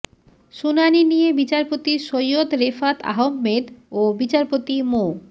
শুনানি নিয়ে বিচারপতি সৈয়দ রেফাত আহম্মেদ ও বিচারপতি মো